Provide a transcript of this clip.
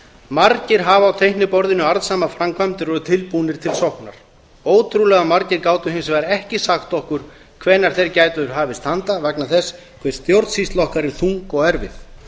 margir hafa á teikniborðinu arðsamar framkvæmdir og eru tilbúnir til sóknar ótrúlega margir gátu hins vegar ekki sagt okkur hvenær þeir gætu hafist handa vegna þess hve stjórnsýsla okkar er þung og erfið